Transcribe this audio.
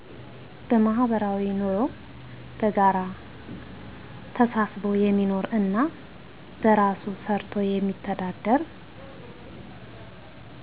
በማህበራዊ ንሮ በጋራ ተሳስቦ የሚኖር እና በራሱ ሰርቶ የሚተዳደር